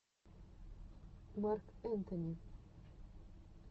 марк энтони